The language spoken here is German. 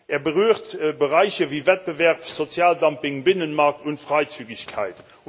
Er berührt Bereiche wie Wettbewerb, Sozialdumping, Binnenmarkt und Freizügigkeit.